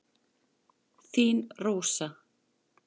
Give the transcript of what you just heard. Þín Rósa.